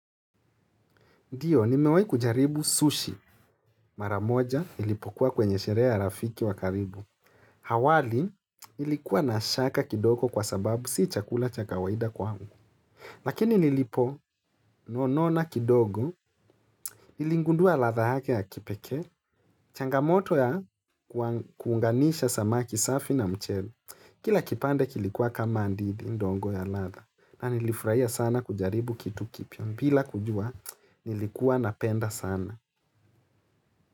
Ndiyo, nimewai kujaribu sushi. Mara moja nilipokuwa kwenye sherea ya rafiki wa karibu. Awali nilikuwa na shaka kidogo kwa sababu si chakula cha kawaida kwangu. Lakini niliponogona kidogo, niligundua latha yake ya kipekee. Changamoto ya kuunganisha samaki safi na mchele. Kila kipande kilikuwa kama didi ndogo ya latha. Na nilifurahi sana kujaribu kitu kipya. Bila kujua, nilikuwa napenda sana.